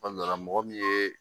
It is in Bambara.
Sabula mɔgɔ min ye